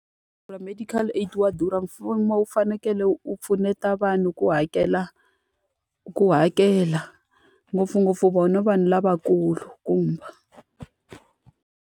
medical aid wa durha mfumo wu fanekele u pfuneta vanhu ku hakela ku hakela. Ngopfungopfu vona vanhu lavakulu .